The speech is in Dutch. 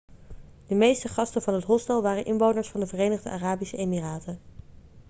de meeste gasten van het hostel waren inwoners van de verenigde arabische emiraten